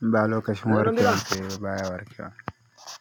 ba lokacin warakar ta yayi ba baya warkewa.